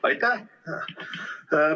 Aitäh!